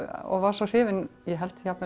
og var svo hrifin ég held jafnvel